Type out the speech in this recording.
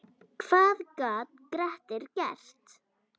Hvað gat Grettir gert?